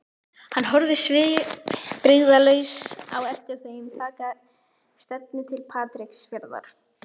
Hann horfði svipbrigðalaus á eftir þeim taka stefnu til Patreksfjarðar.